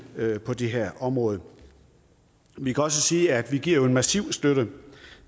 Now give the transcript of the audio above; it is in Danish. på det her område vi kan også sige at vi jo giver en massiv støtte